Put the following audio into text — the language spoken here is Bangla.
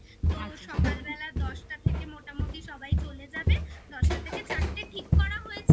তো সকালবেলা দশটা থেকে মোটামুটি সবাই চলে যাবে দশটা থেকে চারটে ঠিক করা হয়েছে